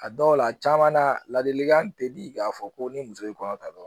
A dɔw la a caman na ladilikan tɛ di k'a fɔ ko ni muso ye kɔnɔ ta dɔrɔn